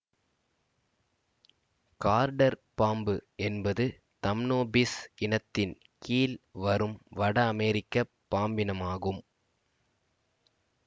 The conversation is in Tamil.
கார்ட்டர் பாம்பு என்பது தம்னோபிஸ் இனத்தின் கீழ் வரும் வடஅமெரிக்கப் பாம்பினமாகும்